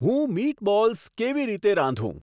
હું મીટબોલ્સ કેવી રીતે રાંધુ